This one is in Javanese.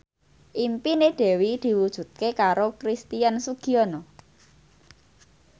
impine Dewi diwujudke karo Christian Sugiono